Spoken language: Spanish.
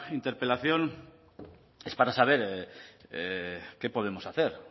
interpelación es para saber qué podemos hacer